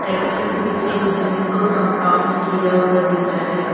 Tractor के पीछे जमीन को कंपाउंड किया हुआ दिख रहा है।